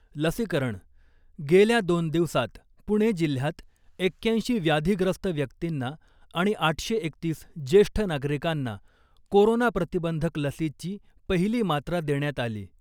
लसीकरण, गेल्या दोन दिवसात पुणे जिल्ह्यात एक्याऐंशी व्याधीग्रस्त व्यक्तींना आणि आठशे एकतीस ज्येष्ठ नागरिकांना कोरोना प्रतिबंधक लसीची पहिली मात्रा देण्यात आली .